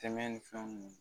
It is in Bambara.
Tɛmɛ ni fɛnw